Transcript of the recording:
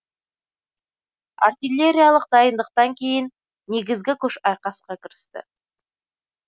артиллериялық дайындықтан кейін негізгі күш айқасқа кірісті